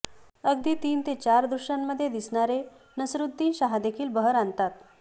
अगदी तीन ते चार दृश्यांमध्ये दिसणारे नसीरुद्दीन शहादेखील बहर आणतात